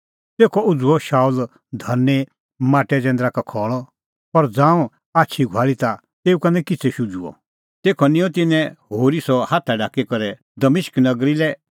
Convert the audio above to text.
तेखअ उझ़ुअ शाऊल धरनीं माटै जैंदरा का खल़अ पर ज़ांऊं आछी घुआल़ी ता तेऊ का निं किछ़ै शुझुअ तेखअ निंयं तिन्नें होरी सह हाथा ढाकी करै दमिश्क नगरी लै